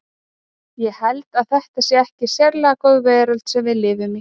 Ég held að þetta sé ekki sérlega góð veröld sem við lifum í.